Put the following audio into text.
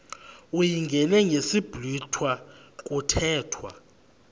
uyingene ngesiblwitha kuthethwa